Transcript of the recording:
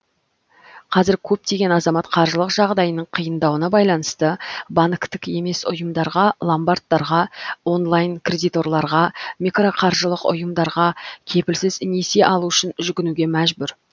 қазір көптеген азамат қаржылық жағдайының қиындауына байланысты банктік емес ұйымдарға ломбардтарға онлайн кредиторларға микроқаржылық ұйымдарға кепілсіз несие алу үшін жүгінуге мәжбүр